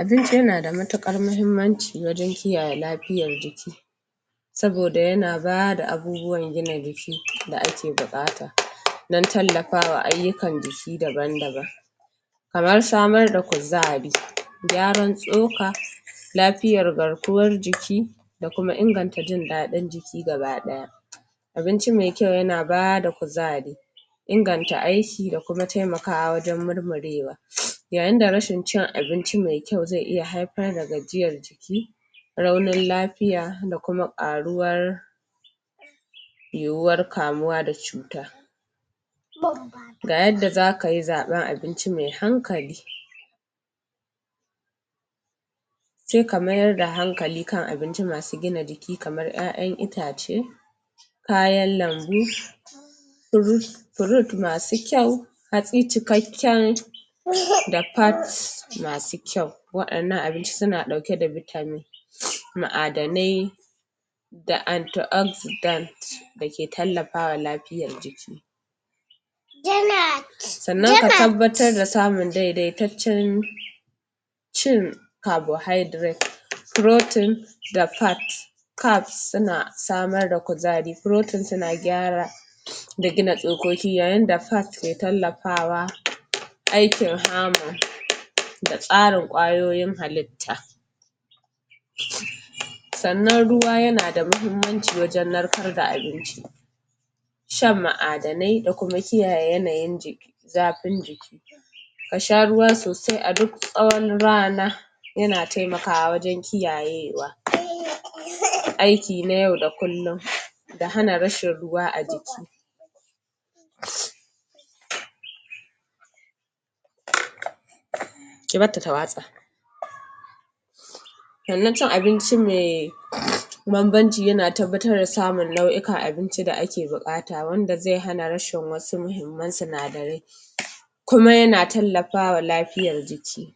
Abinci na da matuƙar muhimanci wajen kare lafiyar jiki saboda yana bada abubuwan jina jiki da ake buƙata don tallafa wa ayyukan jiki daban daban. Kamar samar da kuzari, gyaran tsoka, lafiyar garkuwar jiki da kuma inganta jin daɗin jiki gabadaya. ABinci mai kyau yana bada kuzari inganta aiki da kuma taimakawa wajen murmurewa, yayinda rashin cin abinci mai kyau zai iya haifar da gajiyar jiki raunin lafiya da kuma ƙaruwar yiwuwar kamuwa da cuta ga yadda za kayi zaɓar abinci mai hankali sai ka mayar da hankali kan abinci masu gina jiki kamar ƴaƴan itace kayan lambu, root masu kyau, hatsi cikakken da masu kyau waɗannan abinci suna ɗauke da vitamin ma'adanai da anti-oxidants da ke tallafa wa lafiyar jiki sannan ka tabbatar da samun daidaitaccen cin carbohydrates, proteins da fats carbs suna samar da kuzari, proteins suna gyara da gina tsokoki. Ga yanda fats ke tallafawa aikin hammer da tsarin kwayoyin halitta sannan ruwa yanada muhimmanci wajen narkar da abinci shan ma'adanai da kuma kiyaye yanayin zafin jiki a sha ruwa sosai a duk tsawon rana yana taimakawa wajen kiyaye wa aiki na yau da kullum da hana rashin ruwa a jiki Ki barta ta watsa Sannan cin abinci mai banbanci ya a tabbatar da samun nau'ikan abinci da ake buƙata wanda zai hana rashin wasu muhimman sinadarai kuma yana tallafa wa lafiyar jiki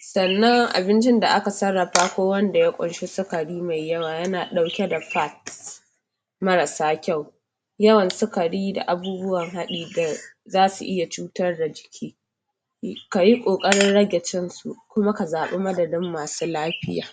sannan abincin da aka sarrafa ko wanda ya ƙunshi sukari mai yawa yana ɗauke da fats marasa kyau yawan sukayi da abubuwan haɗi da za su iya cutar da jiki kayi ƙoƙarin rage cin su kuma ka zaɓi madadin ma su lafiya.